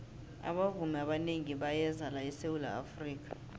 abavumi abanengi bayeza la esawula afrika